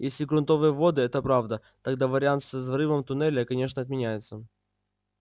если грунтовые воды это правда тогда вариант со взрывом туннеля конечно отменяется